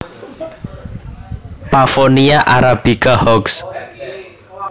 Pavonia arabica Hochst